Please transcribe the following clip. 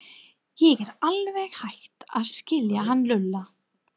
Ég er alveg hætt að skilja hann Lúlla.